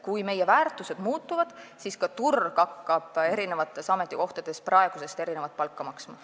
Kui meie väärtused muutuvad, siis ka turg hakkab eri ametikohtadel praegusest erinevat palka maksma.